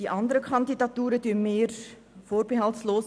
Diese unterstützen wir vorbehaltlos: